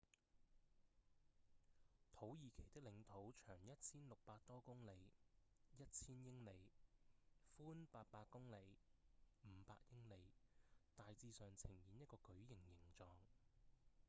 土耳其的領土長 1,600 多公里 1,000 英里寬800公里500英里大致上呈現一個矩形形狀